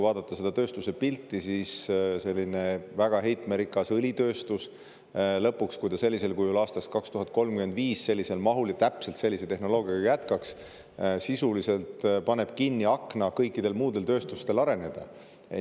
Väga heitmerikas õlitööstus, kui ta sellisel kujul aastani 2035 sellises mahus ja täpselt sellise tehnoloogiaga jätkaks, paneks lõpuks sisuliselt kinni arenemisakna kõikidel muudel tööstus.